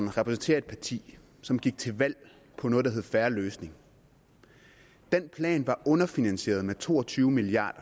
repræsenterer et parti som gik til valg på noget der hed en fair løsning den plan var underfinansieret med to og tyve milliard